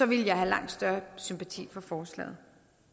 ville jeg have langt større sympati for forslaget